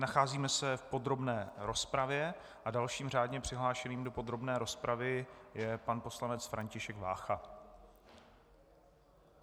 Nacházíme se v podrobné rozpravě a dalším řádně přihlášeným do podrobné rozpravy je pan poslanec František Vácha.